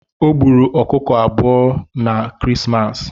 Ọ gburu ọ̣kụ̣kọ abụ̣ọ̣ na kirisimasa